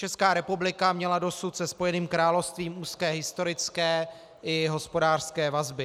Česká republika měla dosud se Spojeným královstvím úzké historické i hospodářské vazby.